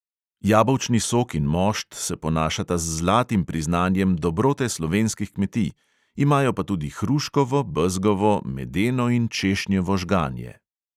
Jabolčni sok in mošt se ponašata z zlatim priznanjem dobrote slovenskih kmetij, imajo pa tudi hruškovo, bezgovo, medeno in češnjevo žganje.